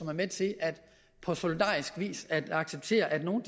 er med til på solidarisk vis at acceptere at nogle